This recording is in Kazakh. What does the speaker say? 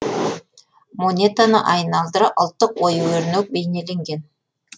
монетаны айналдыра ұлттық ою өрнек бейнеленген